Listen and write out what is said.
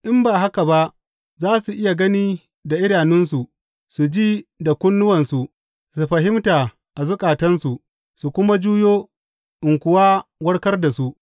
In ba haka ba za su iya gani da idanunsu, su ji da kunnuwansu, su fahimta a zukatansu, su kuma juyo, in kuwa warkar da su.’